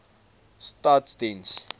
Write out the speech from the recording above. staatsdiens